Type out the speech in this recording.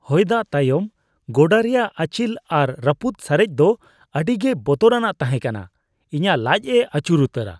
ᱦᱚᱭᱫᱟᱜ ᱛᱟᱭᱚᱢ ᱜᱚᱰᱟ ᱨᱮᱭᱟᱜ ᱟᱸᱪᱤᱞ ᱟᱨ ᱨᱟᱹᱯᱩᱫ ᱥᱟᱨᱮᱡ ᱫᱚ ᱟᱹᱰᱤᱜᱮ ᱵᱚᱛᱚᱨᱟᱱᱟᱜ ᱛᱟᱦᱮᱸ ᱠᱟᱱᱟ, ᱤᱧᱟᱹᱜ ᱞᱟᱪᱽ ᱮ ᱟᱹᱪᱩᱨ ᱩᱛᱟᱹᱨᱟ ᱾